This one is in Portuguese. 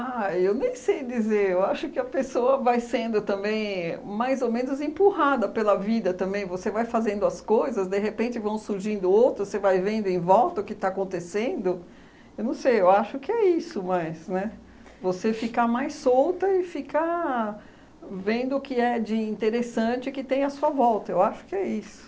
Ah, eu nem sei dizer, eu acho que a pessoa vai sendo também mais ou menos empurrada pela vida também, você vai fazendo as coisas, de repente vão surgindo outras, você vai vendo em volta o que está acontecendo, eu não sei, eu acho que é isso mais, né? Você ficar mais solta e ficar vendo o que é de interessante que tem à sua volta, eu acho que é isso.